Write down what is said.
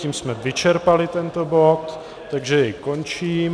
Tím jsme vyčerpali tento bod, takže jej končím.